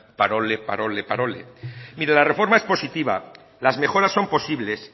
parole parole mire la reforma es positiva las mejoras con posibles